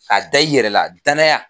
K'a da i yɛrɛ la danaya